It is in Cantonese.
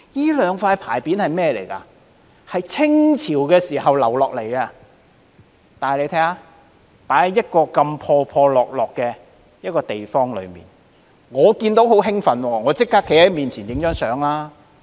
這兩塊牌匾由清朝留傳下來，但卻閒置在一個破落的地方，我看見時感到十分興奮，立即上前與它拍照。